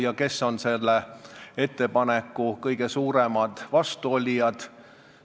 Ja kes on sellele ettepanekule kõige rohkem vastu?